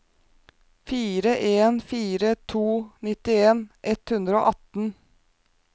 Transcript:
fire en fire to nittien ett hundre og atten